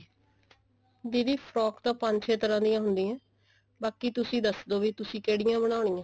ਦੀਦੀ frock ਤਾਂ ਪੰਜ ਚੇ ਤਰ੍ਹਾਂ ਦੀਆਂ ਹੁੰਦੀਆਂ ਬਾਕੀ ਤੁਸੀਂ ਦੱਸਦੋ ਵੀ ਤੁਸੀਂ ਕਿਹੜੀਆਂ ਬਣਾਉਨਿਆ